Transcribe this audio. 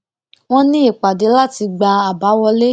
wón ní ìpàdé láti gba àbá wọlé